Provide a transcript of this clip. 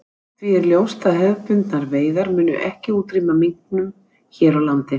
Því er ljóst að hefðbundnar veiðar munu ekki útrýma minknum hér á landi.